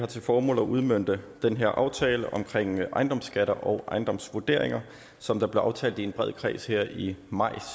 til formål at udmønte den her aftale om ejendomsskatter og ejendomsvurderinger som blev aftalt i en bred kreds her i maj